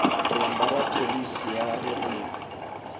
rimba ra pholisi ya ririmi